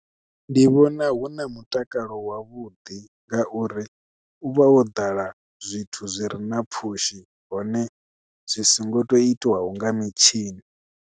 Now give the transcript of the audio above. Ndi vhona hu na mutakalo wavhuḓi ngauri u vha wo ḓala zwithu zwi re na pfhushi hone zwi songo to itiwaho nga mitshini.